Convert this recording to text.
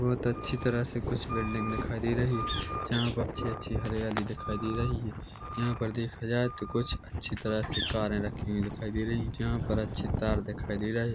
बहुत अच्छी तरह से कुछ बिल्डिंग दिखाई दे रही हैं जहाँ पर अच्छी अच्छी हरियाली दिखाई दे रही हैंजहाँ पर देखा जाए कुछ अच्छी तरह से कारे रखी हुई दिखाई दे रही हैं जहाँ पर अच्छे तार दिखाई दे रहे--